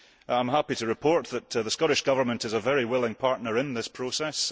I am happy to report that the Scottish Government is a very willing partner in this process.